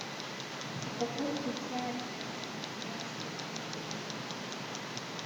упаковку чая тесс двадцать пять пакетиков